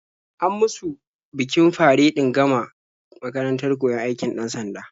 An musu bikin faredin gama makarantar koyon aikin 'dan-sanda.